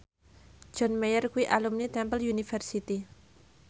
John Mayer kuwi alumni Temple University